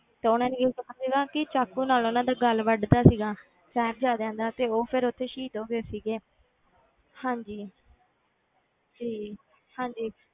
ਤੇ ਉਹਨਾਂ ਸੀਗਾ ਕਿ ਚਾਕੂ ਨਾਲ ਉਹਨਾਂ ਦਾ ਗਲ ਵੱਢ ਦਿੱਤਾ ਸੀਗਾ, ਸਾਹਿਬਜ਼ਾਦਿਆਂ ਦਾ ਤੇ ਉਹ ਫਿਰ ਉੱਥੇ ਸ਼ਹੀਦ ਹੋ ਗਏ ਸੀਗੇ ਹਾਂਜੀ ਜੀ ਹਾਂਜੀ।